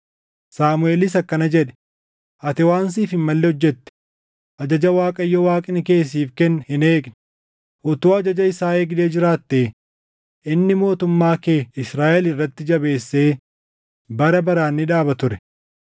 Saamuʼeelis akkana jedhe; “Ati waan siif hin malle hojjete; ajaja Waaqayyo Waaqni kee siif kenne hin eegne; utuu ajaja isaa eegdee jiraattee inni mootummaa kee Israaʼel irratti jabeessee bara baraan ni dhaaba ture.